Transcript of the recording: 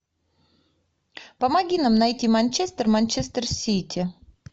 помоги нам найти манчестер манчестер сити